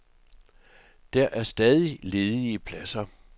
Der er stadig ledige pladser.